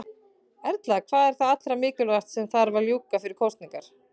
Erla: Hvað er það allra mikilvægasta sem að þarf að ljúka fyrir kosningar?